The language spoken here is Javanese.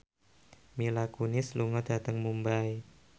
Mila Kunis lunga dhateng Mumbai